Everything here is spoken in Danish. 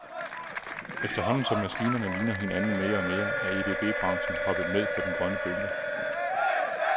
Efterhånden, som maskinerne ligner hinanden mere og mere, er EDB branchen hoppet med på den grønne bølge.